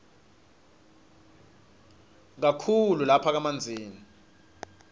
kakhulu lapha kamanzini